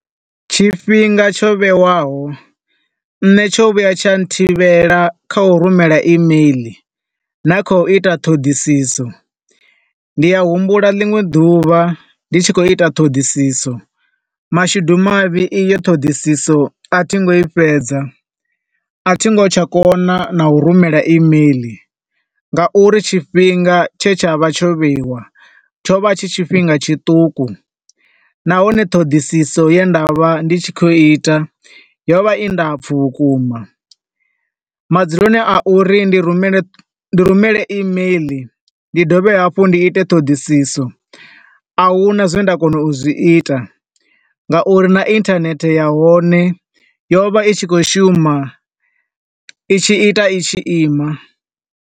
Tshifhinga tsho vhewaho nne tsho vhuya tsha thivhela kha u rumela email, na kha u ita ṱhoḓisiso. Ndi a humbula liṅwe ḓuvha ndi tshi khou ita ṱhoḓisiso, mashudu mavhi i yo ṱhoḓisiso a thi ngo i fhedza, a thingo tsha kona na u rumela email nga uri tshifhinga tshe tsha vha tsho vheiwa, tsho vha tshi tshifhinga tshiṱuku. Nahone ṱhoḓisiso ye nda vha ndi tshi khou ita, yo vha i ndapfu vhukuma. Madzuluno a uri ndi rumele, ndi rumele email, ndi dovhe hafhu ndi ite ṱhoḓisiso, a huna zwe nda kona u zwi ita, nga uri na internet ya hone, yo vha i tshi khou shuma i tshi ita i tshi ima.